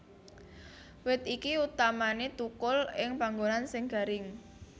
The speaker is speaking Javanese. Wit iki utamané thukul ing panggonan sing garing